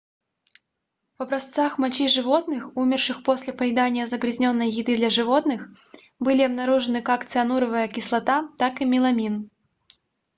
в образцах мочи животных умерших после поедания загрязненной еды для животных были обнаружены как циануровая кислота так и меламин